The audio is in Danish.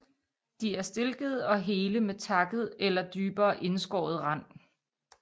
De er stilkede og hele med takket eller dybere indskåret rand